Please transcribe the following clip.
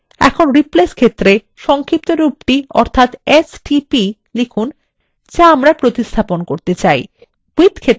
এখন replace ক্ষেত্রে সংক্ষিপ্তরূপ the অর্থাত stp লিখুন যা আমরা প্রতিস্থাপন করতে চাই